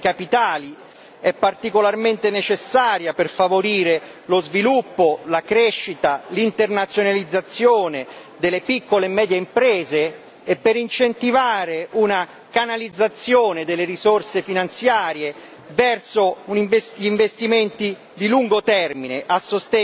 In particolare, poi, noi pensiamo che l'Unione dei mercati dei capitali sia particolarmente necessaria per favorire lo sviluppo, la crescita, l'internazionalizzazione delle piccole e medie imprese e per incentivare una canalizzazione delle risorse finanziarie